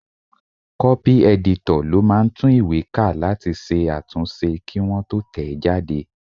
Kọ́pì ẹ̀dítọ̀ ló máà ń tún ìwé ká láti ṣe àtúnṣe kí wọ́n tó tẹ̀ ẹ́ jáde